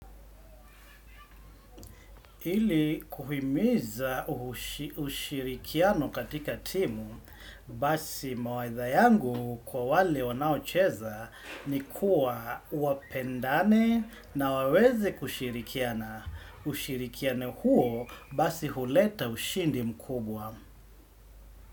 Hili kuhimiza ushirikiano katika timu basi mawaitha yangu kwa wale wanaocheza ni kuwa wapendane na waweze kushirikiana. Ushirikiane huo basi huleta ushindi mkubwa.